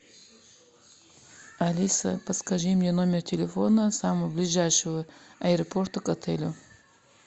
алиса подскажи мне номер телефона самого ближайшего аэропорта к отелю